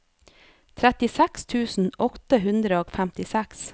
trettiseks tusen åtte hundre og femtiseks